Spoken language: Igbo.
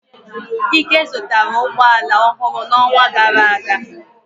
Ike zụtara ụgbọ ala ọhụrụ n'ọnwa gara aga.